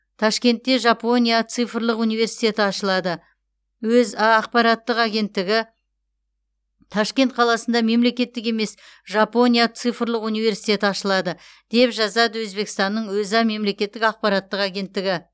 ташкентте жапония цифрлық университеті ашылады өза ақпараттық агенттігі ташкент қаласында мемлекеттік емес жапония цифрлық университеті ашылады деп жазады өзбекстанның өза мемлекеттік ақпараттық агенттігі